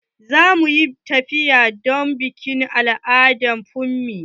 Za mu zo mu yi tafiya don bikin al'ada na funmi.